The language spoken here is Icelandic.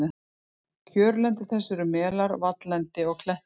Kjörlendi þess eru melar, valllendi og klettar.